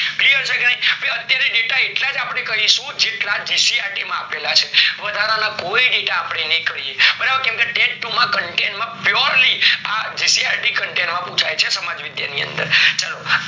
જયારે data એટલેજ આપડે કરીશું જેટલા જીસીઆરટી માં આપેલા છે વધારન કોઈ data અપડે નઈ કરીએ બરાબર ટાટ ટુ માં content માં purely આ જીસીઆરટી content માં પુછાય છે સમાજ વિદ્યા ની અંદર ચલો આ